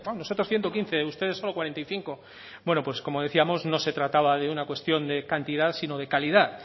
nosotros ciento quince ustedes solo cuarenta y cinco bueno pues como decíamos no se trataba de una cuestión de cantidad sino de calidad